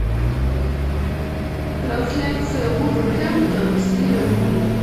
трансляция вулверхэмптон с ливерпуль